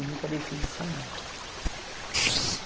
E nunca deixem de sonhar.